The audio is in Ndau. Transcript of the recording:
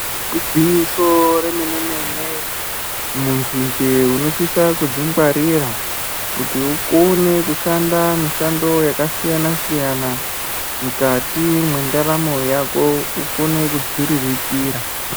Igwinyiso remene mene muntu nje unosisa kudzingwarira kuti ukone kushanda mishando yakasiyana-siyana mukati mwendaramo Yako ukone kudziriritira.